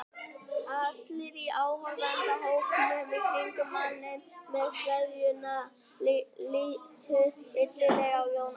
Allir í áhorfendahópnum í kringum manninn með sveðjuna litu illilega á Jón Ólaf.